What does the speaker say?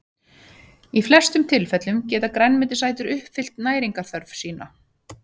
í flestum tilfellum geta grænmetisætur uppfyllt næringarþörf sína